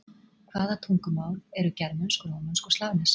Hvaða tungumál eru germönsk, rómönsk og slavnesk?